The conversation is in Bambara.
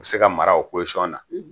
O bi se ka mara o na.